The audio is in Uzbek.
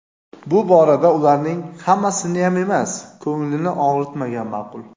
bu borada ularning (hammasiniyam emas) ko‘nglini og‘ritmagan ma’qul.